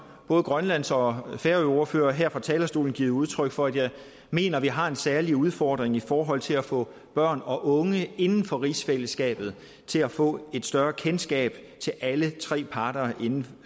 både grønlands og færøordfører her fra talerstolen givet udtryk for at jeg mener vi har en særlig udfordring i forhold til at få børn og unge inden for rigsfællesskabet til at få et større kendskab til alle tre parter inden